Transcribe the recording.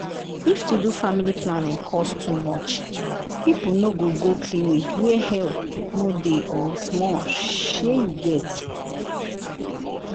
if to do family planning cost too much people no go go clinic where help no dey or small shey you get.